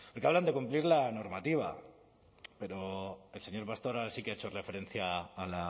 porque hablan de cumplir la normativa pero el señor pastor sí que ha hecho referencia a